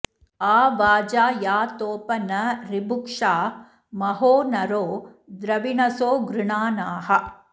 आ वाजा यातोप न ऋभुक्षा महो नरो द्रविणसो गृणानाः